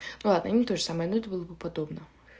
ладно не тоже самое но это было бы подобно